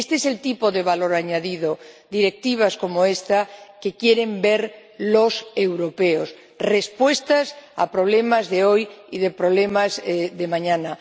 Este es el tipo de valor añadido —directivas como esta— que quieren ver los europeos, respuestas a problemas de hoy y a problemas de mañana.